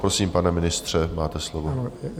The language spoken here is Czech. Prosím, pane ministře, máte slovo.